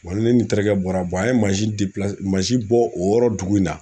ne ni n terikɛ bɔra an ye mansin mansin bɔ o yɔrɔ dugu in na.